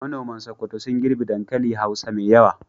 Manoman Sokoto sun girbe dankali hausa mai yawa.